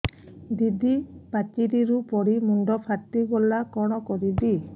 ଦିଦି ପାଚେରୀରୁ ପଡି ମୁଣ୍ଡ ଫାଟିଗଲା କଣ କରିବି